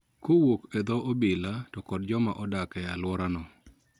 Kowuok e dho obila to kod jokma odak e alwora no.